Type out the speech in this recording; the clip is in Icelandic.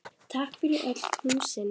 Takk fyrir öll knúsin.